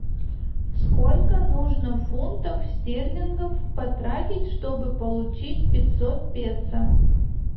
сколько нужно фунтов стерлингов потратить чтобы получить пятьсот песо